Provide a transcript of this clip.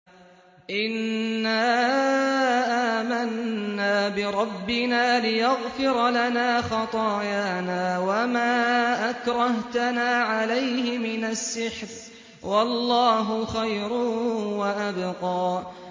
إِنَّا آمَنَّا بِرَبِّنَا لِيَغْفِرَ لَنَا خَطَايَانَا وَمَا أَكْرَهْتَنَا عَلَيْهِ مِنَ السِّحْرِ ۗ وَاللَّهُ خَيْرٌ وَأَبْقَىٰ